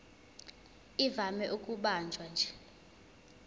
ivame ukubanjwa nje